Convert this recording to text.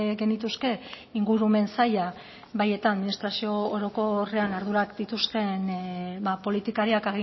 genituzke ingurumen saila bai eta administrazio orokorrean ardurak dituzten ba politikariak